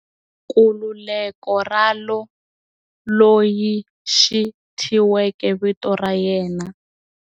Nkululeko Ralo, loyi xi thyiweke vito ra yena.